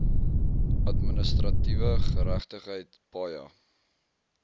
administratiewe geregtigheid paja